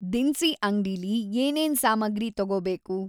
ದಿನ್ಸಿ ಅಂಗ್ಡೀಲಿ ಏನೇನ್‌ ಸಾಮಗ್ರಿ ತೊಗೋಬೇಕು